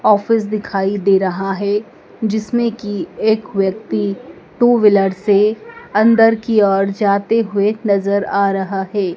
Office दिखाई दे रहा है जिसमे की एक व्यक्ति टू व्हीलर से अंदर की ओर जाते हुए नजर आ रहा है।